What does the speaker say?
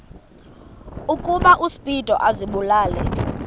ukuba uspido azibulale